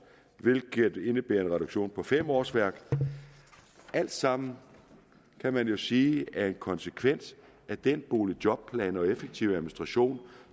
hvilket indebærer en reduktion på fem årsværk altsammen kan man jo sige er en konsekvens af den boligjobplan og effektiv administration